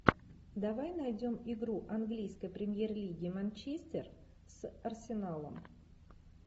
давай найдем игру английской премьер лиги манчестер с арсеналом